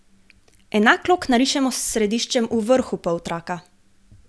Enak lok narišemo s središčem v vrhu poltraka.